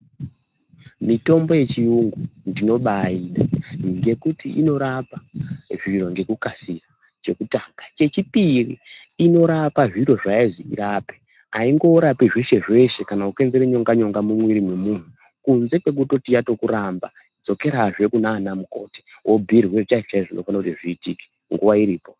Mitombo yechiyungu ndinobaida ngekuti inorapa zviro ngekukasira chekutanga. Chechipiri inorapa zviro zvayazi irape haingorapi zveshe-zveshe kana kukonzera nyonga-nyonga mumwiri memuntu. Kunze kwekutoti yatokuramba vodzokerazve kunana mukoti vobhuirwe chaizvo-chaizvo zvinofana kuti zviitike nguwa iripo.